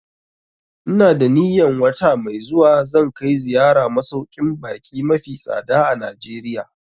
Ina da niyan wata mai zuwa zan kai ziyara masauƙin baƙi mafi tsada a Najeriya